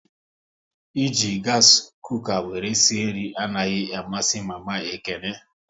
E ji gasi kuka wéré sie nri anaghị amasị mama Ekene